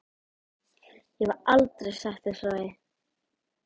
Ég hef aldrei sagt þér frá því.